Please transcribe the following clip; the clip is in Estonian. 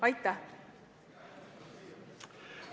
Aitäh!